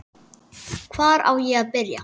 Hvar á ég að byrja?